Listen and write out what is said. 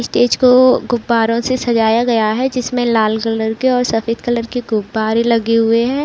Stage को गुब्बारों से सजाया गया है जिसमें लाल कलर के और सफ़ेद कलर के गुब्बारे लगे हुए हैं।